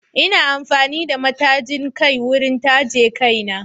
Ina amfani da matajin kai wurin taje kaina